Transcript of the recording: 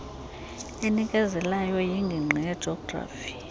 enikezelayo yingingqi yejografi